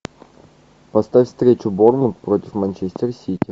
поставь встречу борнмут против манчестер сити